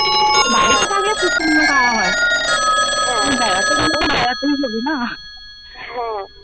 বাড়িতে থাকলে খুব সুন্দর খাওয়া হয়। হ্যাঁ বেড়াতে গেলে তো বেড়াতেই না হ্যাঁ।